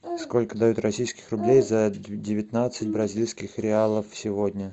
сколько дают российских рублей за девятнадцать бразильских реалов сегодня